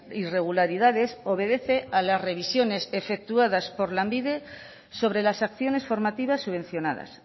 irregularidades obedece a las revisiones efectuadas por lanbide sobre las acciones formativas subvencionadas